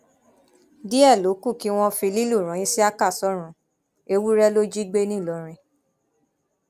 díẹ ló kù kí wọn fi lílù ran isiaka sọrùn ewúrẹ ló jí gbé ńìlọrin